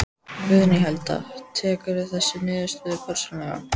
Guðný Helga: Tekurðu þessa niðurstöðu persónulega?